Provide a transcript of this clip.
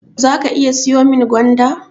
Zaka iya siyo min gwanda?